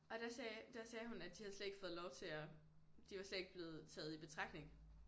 Og der sagde der sagde hun at de havde slet ikke fået lov til at de var slet ikke blevet taget i betragtning